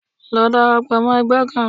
Lọ darapọ̀ mọ ẹgbẹ́ kan!